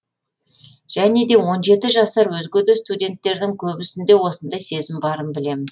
және де он жеті жасар өзге де студенттердің көбісінде осындай сезім барын білемін